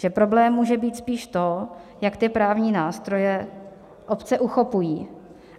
Že problém může být spíš to, jak ty právní nástroje obce uchopují.